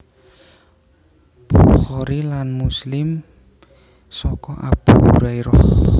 Bukhari lan Muslim saka Abu Hurairah